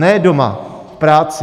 Ne doma, v práci.